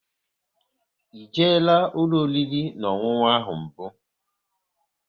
E jela ụlọ oriri na ọṅụṅụ ahụ mbụ?